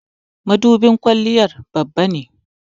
mudubin kwalliya Babba ne